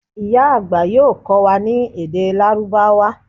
ìyá àgbà yoo kó̩ wa ni èdè lárúbáwá